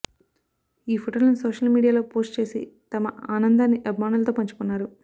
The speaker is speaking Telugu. ఈ ఫోటోలను సోషల్ మీడియాలో పోస్ట్ చేసి తమ ఆనందాన్ని అభిమానులతో పంచుకున్నారు